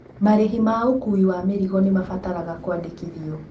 Marĩhi ma ũkuui wa mĩrigo nĩ mabataraga kũandĩkithio.